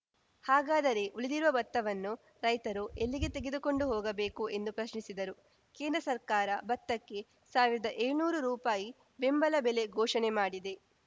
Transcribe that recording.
ಹಾಗಾದರೆ ಉಳಿದಿರುವ ಭತ್ತವನ್ನು ರೈತರು ಎಲ್ಲಿಗೆ ತೆಗೆದುಕೊಂಡು ಹೋಗಬೇಕು ಎಂದು ಪ್ರಶ್ನಿಸಿದರು ಕೇಂದ್ರ ಸರ್ಕಾರ ಭತ್ತಕ್ಕೆ ಸಾವಿರ್ದಾ ಏಳ್ನೂರು ರೂಪಾಯಿ ಬೆಂಬಲ ಬೆಲೆ ಘೋಷಣೆ ಮಾಡಿದೆ